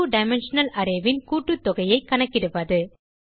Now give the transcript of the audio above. மற்றும் 2டைமென்ஷனல் arrayக் கூட்டுத்தொகையைக் கணக்கிடுவது